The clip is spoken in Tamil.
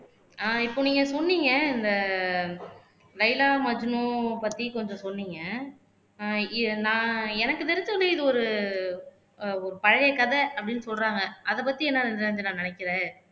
ஆஹ் இப்போ நீங்க சொன்னீங்க இந்த லைலா மஜ்னுவ பத்தி கொஞ்சம் சொன்னீங்க ஆஹ் நான் எனக்கு தெரிஞ்ச வரையும் இது ஒரு அஹ் பழைய கதை அப்படின்னு சொல்றாங்க அதை பத்தி என்ன நிரஞ்சனா நினைக்குற